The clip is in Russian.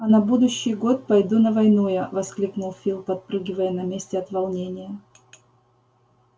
а на будущий год пойду на войну я воскликнул фил подпрыгивая на месте от волнения